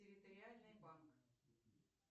территориальный банк